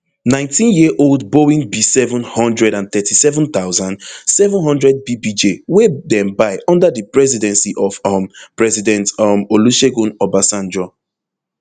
nineteenyearold boeing bseven hundred and thirty-seven thousand, seven hundredbbj wey dem buy under di presidency of um president um olusegun obasanjo